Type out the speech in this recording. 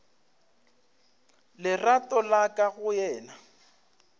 lerato la ka go yena